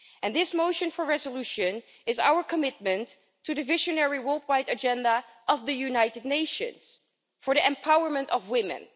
This motion for a resolution is our commitment to the visionary worldwide agenda of the United Nations for the empowerment of women.